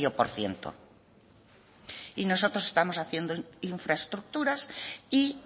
por ciento y nosotros estamos haciendo infraestructuras y